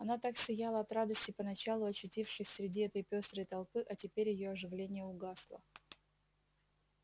она так сияла от радости поначалу очутившись среди этой пёстрой толпы а теперь её оживление угасло